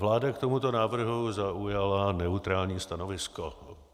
Vláda k tomuto návrhu zaujala neutrální stanovisko.